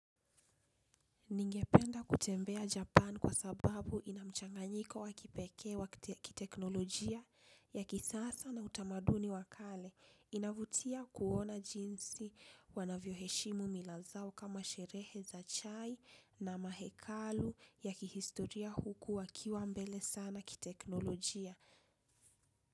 Ningependa kutembea Japan kwa sababu ina mchanganyiko wa kipekee wa kiteknolojia ya kisasa na utamaduni wa kale, inavutia kuona jinsi wanavyo heshimu mila zao kama sherehe za chai na mahekalu ya kihistoria huku wakiwa mbele sana kiteknolojia.